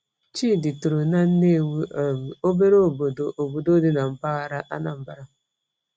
Chidi toro na Nnewi, um obere obodo obodo dị na mpaghara Anambra.